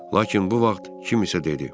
Lakin bu vaxt kim isə dedi: